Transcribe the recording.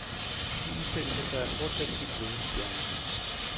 De udtalelser står jeg fortsat helt ved, siger han.